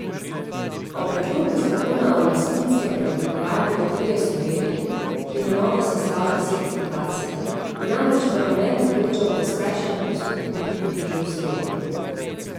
O predlogu zakona o lastninskem preoblikovanju Loterije Slovenije, ki na novo sestavlja svet fundacije, bo namreč parlament odločal po skrajšanem postopku, in to že v sredo.